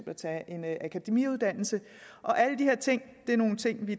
at tage en akademiuddannelse alle de her ting